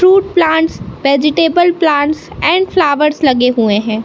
Truth plants vegetable plants and flowers लगे हुए हैं।